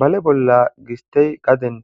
Bale bolla gistey qaden